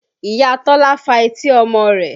Ìyá Tọ́lá fa etí ọmọ rẹ̀